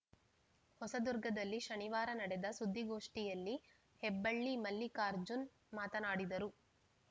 ಹೊಸದುರ್ಗದಲ್ಲಿ ಶನಿವಾರ ನಡೆದ ಸುದ್ದಿಗೋಷ್ಠಿಯಲ್ಲಿ ಹೆಬ್ಬಳ್ಳಿ ಮಲ್ಲಿಕಾರ್ಜುನ್‌ ಮಾತನಾಡಿದರು